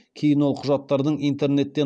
кейін ол құжаттардың интернеттен